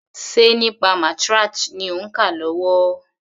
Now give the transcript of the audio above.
Ṣe nípa matriarch ni òń kà lọ́wọ́?